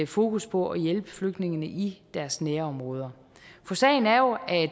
fokus på at hjælpe flygtningene i deres nærområder for sagen er jo at